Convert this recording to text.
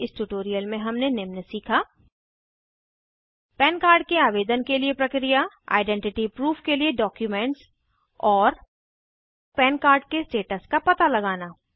इस ट्यूटोरियल में हमने निम्न सीखा पन कार्ड के आवेदन के लिए प्रक्रिया आइडेंटिटी प्रूफ के लिए डॉक्युमेंट्स और पन कार्ड के स्टेटस का पता लगाना